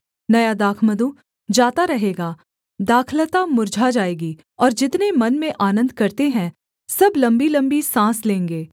नया दाखमधु जाता रहेगा दाखलता मुर्झा जाएगी और जितने मन में आनन्द करते हैं सब लम्बीलम्बी साँस लेंगे